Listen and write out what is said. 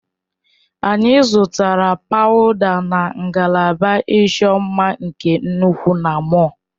Anyị zụtara pawuda na ngalaba ịchọ mma nke nnukwu na mọll.